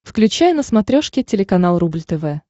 включай на смотрешке телеканал рубль тв